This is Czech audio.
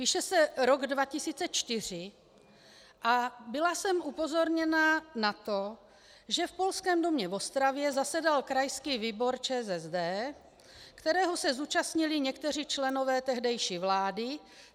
Píše se rok 2004 a byla jsem upozorněna na to, že v Polském domě v Ostravě zasedal krajský výbor ČSSD, kterého se zúčastnili někteří členové tehdejší vlády.